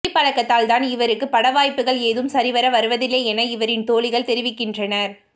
குடிப்பழக்கத்தால் தான் இவருக்கு பட வாய்ப்புக்கள் ஏதும் சரிவர வருவதில்லை என இவரின் தோழிகள் தெரிவிக்கின்றனர்